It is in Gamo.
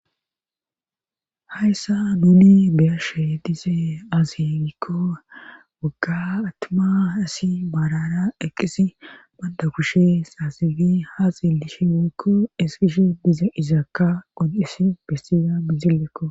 hayssa nuni beyashe dise aze gikko wagga attuma hasi maarara eqqisi banda kushe saasidi ha sillishe woykko eskishe diza izaakka qonxisi bestiza mizillekko